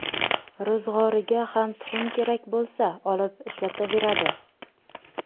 Ro‘zg‘origa ham tuxum kerak bo‘lsa, olib ishlataveradi”.